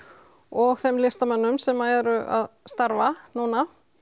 og þeim listamönnum sem eru að starfa núna